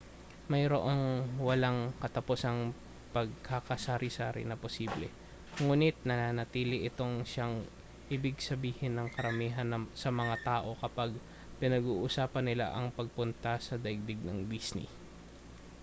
mayroong walang katapusang pagkakasari-sari na posible nguni't nanatili itong siyang ibig sabihin ng karamihan sa mga tao kapag pinag-uusapan nila ang pagpunta sa daigdig ng disney